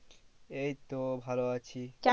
এই তো ভালো আছিl̥